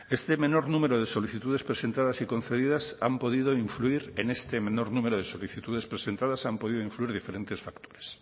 en este menor número de solicitudes presentadas y concedidas han podido influir diferentes factores